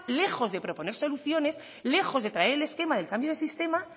lejos de proponer soluciones lejos de traer el esquema del cambio del sistema